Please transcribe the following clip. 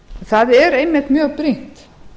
það er einmitt mjög brýnt